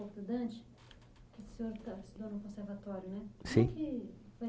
pouco do Dante, que o senhor estudou no conservatório, não é? Sim. O que